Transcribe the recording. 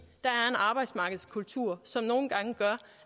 arbejdsmarkedskultur som nogle gange gør